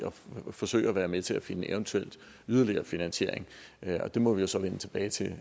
at forsøge at være med til at finde eventuel yderligere finansiering og det må vi jo så vende tilbage til